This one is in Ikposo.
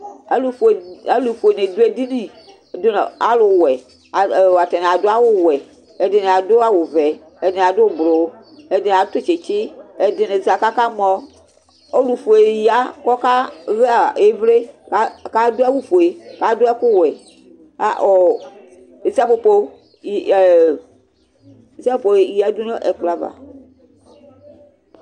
Alʋfue alʋfue dɩ dʋ edini dʋ nʋ alʋwɛ A ɔ atanɩ adʋ awʋwɛ Ɛdɩnɩ adʋ awʋvɛ, ɛdɩnɩ adʋ ʋblo, ɛdɩnɩ atʋ tsɩtsɩ, ɛdɩnɩ za kʋ akamɔ Ɔlʋfue ya kʋ ɔkaɣa ɩvlɩ ka kʋ adʋ awʋfue, kʋ adʋ ɛkʋwɛ ka ɔ isapopo yɩ ɛ ɔ isapopo yǝdu nʋ ɛkplɔ ava